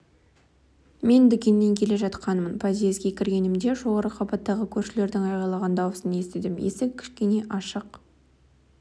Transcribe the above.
мен дүкеннен келе жатқанмын подъезге кіргенімде жоғары қабаттағы көршілердің айғайлаған дауысын естідім есік кішкене ашық